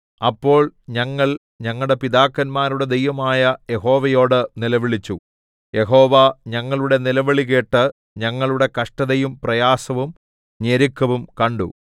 അപ്പോൾ ഞങ്ങൾ ഞങ്ങളുടെ പിതാക്കന്മാരുടെ ദൈവമായ യഹോവയോട് നിലവിളിച്ചു യഹോവ ഞങ്ങളുടെ നിലവിളികേട്ട് ഞങ്ങളുടെ കഷ്ടതയും പ്രയാസവും ഞെരുക്കവും കണ്ടു